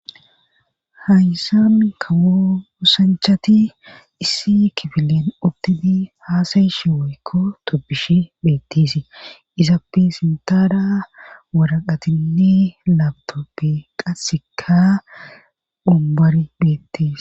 Haysa mi kawousanchati issi kibilen udtini haasayishe woykko toppishi beettisi izappe sintada waraqatinni labto pe qasekka umbar beettis